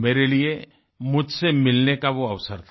मेरे लिये मुझसे मिलने का वो अवसर था